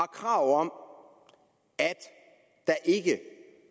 krav om at der ikke